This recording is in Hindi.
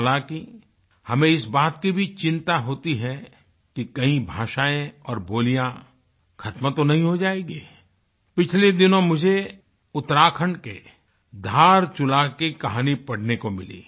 हालाँकि हमें इस बात की भी चिंता होती है कि कहीं भाषाएँ और बोलियाँ ख़त्म तो नहीं हो जाएगी पिछले दिनों मुझे उत्तराखंड के धारचुला की कहानी पढ़ने को मिली